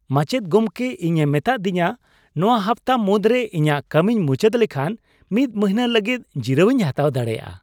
ᱢᱟᱪᱮᱫ ᱜᱚᱢᱠᱮ ᱤᱧᱮ ᱢᱮᱛᱟᱫᱤᱧᱟ ᱱᱚᱣᱟ ᱦᱟᱯᱛᱟ ᱢᱩᱫᱨᱮ ᱤᱧᱟᱜ ᱠᱟᱹᱢᱤᱧ ᱢᱩᱪᱟᱹᱫ ᱞᱮᱠᱷᱟᱱ ᱢᱤᱫ ᱢᱟᱹᱱᱦᱟᱹ ᱞᱟᱹᱜᱤᱫ ᱡᱤᱨᱟᱹᱣᱤᱧ ᱦᱟᱛᱟᱣ ᱫᱟᱲᱮᱭᱟᱜᱼᱟ ᱾